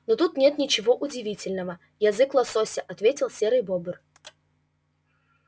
но тут нет ничего удивительного язык лосося ответил серый бобр